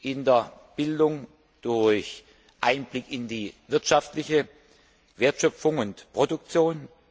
in der Bildung durch Einblick in die wirtschaftliche Wertschöpfung und Produktion.